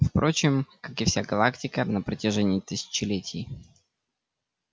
впрочем как и вся галактика на протяжении тысячелетий